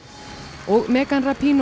og megan